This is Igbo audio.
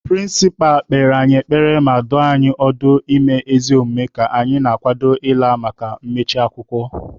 Pịrịnsịpa kpere anyị ekpere ma dụọ anyị ọdụ ime ezi omume ka anyị na-akwado ịla maka mmechi akwụkwọ